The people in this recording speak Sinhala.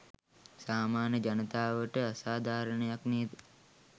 සාමාන්‍ය ජනතාවට අසාධාරණයක් නේද?